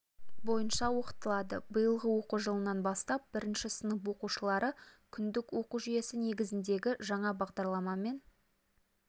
бойынша оқытылады биылғы оқу жылынан бастап бірінші сынып оқушылары күндік оқу жүйесі негізіндегі жаңа бағдарламамен